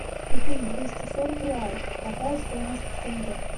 купить двести сорок реалов какая стоимость в тенге